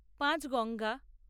Panchganga